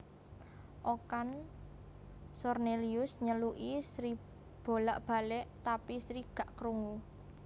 Okan Cornelius nyeluki Sri bolak balek tapi Sri gak krungu